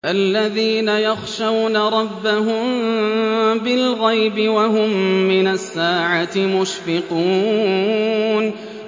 الَّذِينَ يَخْشَوْنَ رَبَّهُم بِالْغَيْبِ وَهُم مِّنَ السَّاعَةِ مُشْفِقُونَ